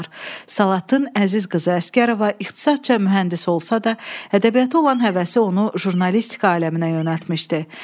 Salatın Əziz qızı Əsgərova ixtisasca mühəndis olsa da, ədəbiyyata olan həvəsi onu jurnalistika aləminə yönəltmişdi.